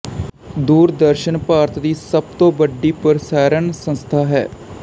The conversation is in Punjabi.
ਦੂਰਦਰਸ਼ਨ ਭਾਰਤ ਦੀ ਸਭ ਤੋਂ ਵੱਡੀ ਪ੍ਰਸਾਰਣ ਸੰਸਥਾ ਹੈ